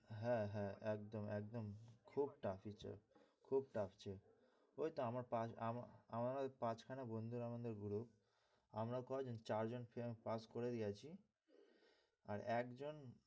হ্যাঁ হ্যাঁ একদম একদম খুব tough আছে খুব tough আছে ওইতো আমার আমাদের আমার পাঁচখানা বন্ধু group আমাদের group আমরা কয়জন আমরা চারজন পাস করে দিয়েছি। আর একজন,